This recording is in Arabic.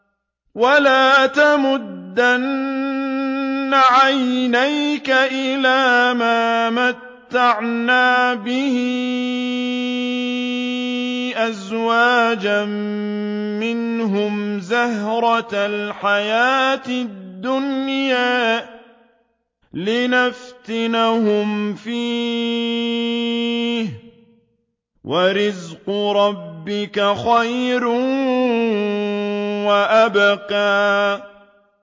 وَلَا تَمُدَّنَّ عَيْنَيْكَ إِلَىٰ مَا مَتَّعْنَا بِهِ أَزْوَاجًا مِّنْهُمْ زَهْرَةَ الْحَيَاةِ الدُّنْيَا لِنَفْتِنَهُمْ فِيهِ ۚ وَرِزْقُ رَبِّكَ خَيْرٌ وَأَبْقَىٰ